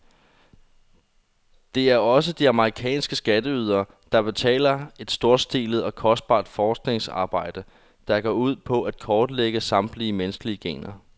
Det er også de amerikanske skatteydere, der betaler et storstilet og kostbart forskningsarbejde, der går ud på at kortlægge samtlige menneskelige gener.